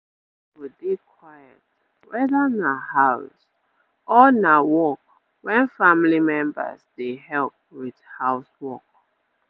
area go dey quiet weda na house or na work wen family members dey help with house work